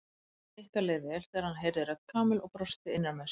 Nikka leið vel þegar hann heyrði rödd Kamillu og brosti innra með sér.